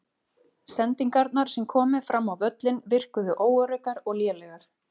Sendingarnar sem komu fram á völlinn virkuðu óöruggar og lélegar.